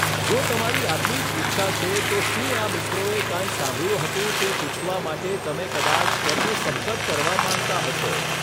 જો તમારી આટલી જ ઈચ્છા છે, તો શું આ મિત્રોએ કાંઇ સાંભળ્યુ હતું તે પૂછવા માટે તમે કદાચ તેમનો સંપર્ક કરવા માંગતા હશો.